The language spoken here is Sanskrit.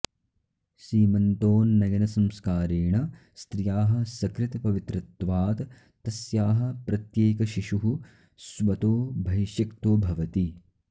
सीमन्तोन्नयनसंस्कारेण स्त्रियाः सकृत् पवित्रत्वात् तस्याः प्रत्येकशिशुः स्वतोऽभैशिक्तो भवति